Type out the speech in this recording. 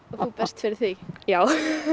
þú berst fyrir því já